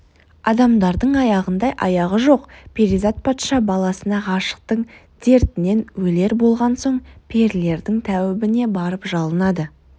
адамдардың аяғындай аяғы жоқ перизат патша баласына ғашықтықтың дертінен өлер болған соң перілердің тәуібіне барып жалынады